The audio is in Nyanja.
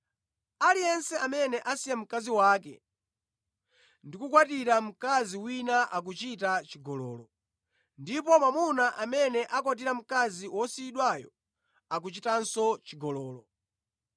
“Aliyense amene asiya mkazi wake ndi kukakwatira mkazi wina akuchita chigololo, ndipo mwamuna amene akwatira mkazi wosiyidwayo akuchitanso chigololo.”